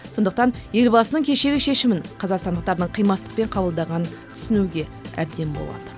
сондықтан елбасының кешегі шешімін қазақстандықтардың қимастықпен қабылдағанын түсінуге әбден болады